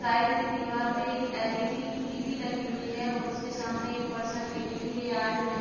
Side में दिवार पे एक एल.ई.डी. टी.वी. लगी हुई है और उसके सामने एक पर्सन लेने के लिए आए हुए हैं।